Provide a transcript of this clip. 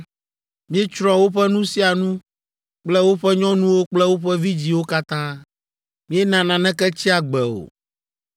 Míetsrɔ̃ woƒe nu sia nu kple woƒe nyɔnuwo kple woƒe vidzĩwo katã. Míena naneke tsi agbe o,